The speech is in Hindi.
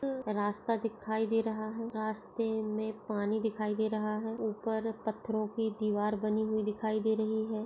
रास्ता दिखाई दे रहा है रास्ते में पानी दिखाई दे रहा है ऊपर पत्थरों की दीवार बनी हुई दिखाई दे रही है।